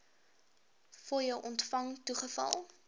fooie ontvang toegeval